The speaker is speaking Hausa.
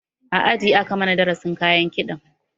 A aji aka mana darasin kayan kiɗan